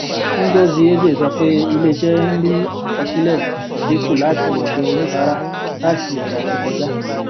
ngozi eze sọ pé iléiṣẹ ń rí àkọsílẹ ìdínkù láti ọdọ oníbàárà láti ọsẹ tó kọjá